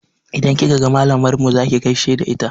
Idan kika ga malamar mu za ki gaishe da ita?